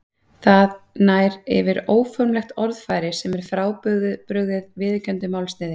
Það nær yfir óformlegt orðfæri sem er frábrugðið viðurkenndu málsniði.